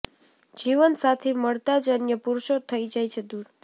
જીવનસાથી મળતા જ અન્ય પુરુષો થઈ જાય છે દૂર